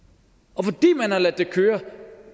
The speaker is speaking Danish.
og fordi man har ladet det køre